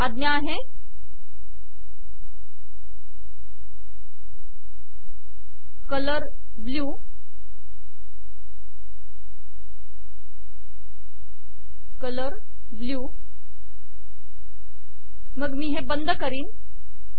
आज्ञा आहे colour blue मग मी हे बंद करीन